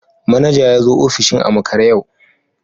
Manaja ya zo ofishin a makare yau